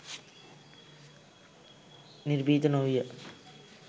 නිර්භීත නොවීය.